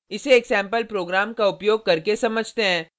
इसे एक sample programme का उपयोग करके समझते हैं